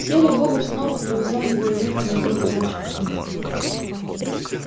серый бобр снопа привязал его и утром отвёл к красавчику смиту